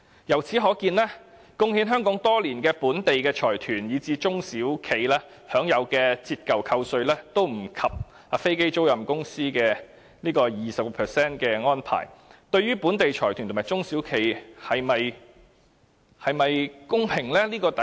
由此可見，貢獻香港多年的本地財團以至中小企，其享有的折舊扣稅都不及飛機租賃公司 20% 的安排，對於本地財團和中小企是否公平呢？